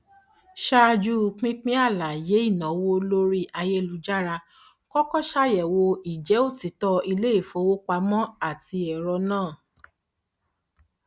ṣáájú pínpín àlàyé ìnáwó lórí ayélujára kọkọ ṣàyẹwò ìjẹ òtítọ iléìfowopamọ ati ẹrọ náà